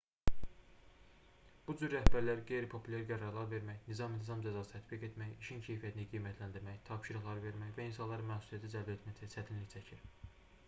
bu cür rəhbərlər qeyri-populyar qərarlar vermək nizam-intizam cəzası tətbiq etmək işin keyfiyyətini qiymətləndirmək tapşırıqlar vermək və insanları məsuliyyətə cəlb etməkdə çətinlik çəkir